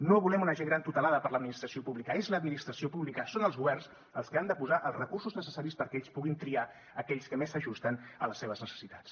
no volem una gent gran tutelada per l’administració pública és l’administració pública són els governs els que han de posar els recursos necessaris perquè ells puguin triar aquells que més s’ajusten a les seves necessitats